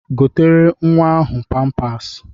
Gotere nwa ahụ pampas!